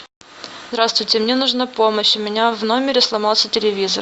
здравствуйте мне нужна помощь у меня в номере сломался телевизор